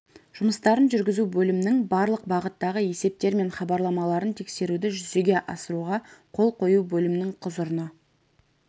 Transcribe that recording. жұмыстарын жүргізу бөлімнің барлық бағыттағы есептері мен хабарламаларын тексеруді жүзеге асыруға қол қою бөлімнің құзырына